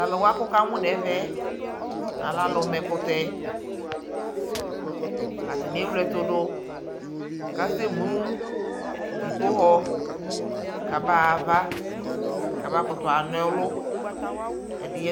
Tʋ alʋwa kʋ wukamʋ nɛvɛ yɛ, alɛ alʋ ma ɛkʋtɛ Atani ewle ɛtʋ dʋ kʋ asɛmu dzipohɔ kabaya ava, kabakʋtʋ ana ɔlʋ